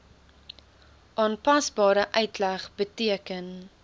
aanpasbare uitleg beteken